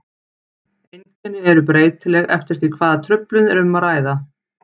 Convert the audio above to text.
Einkenni eru breytileg eftir því hvaða truflun er um að ræða.